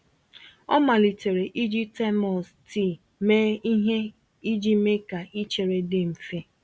Ọ malitere iji termos tii mee ihe iji mee ka ichere dị mfe.